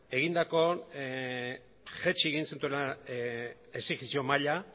jaitsi egin zutela exijentzia maila